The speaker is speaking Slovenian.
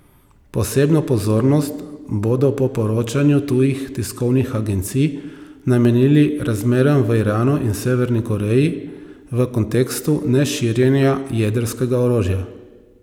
Posebno pozornost bodo po poročanju tujih tiskovnih agencij namenili razmeram v Iranu in Severni Koreji v kontekstu neširjenja jedrskega orožja.